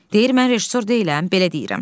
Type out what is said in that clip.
Deyir mən rejissor deyiləm, belə deyirəm.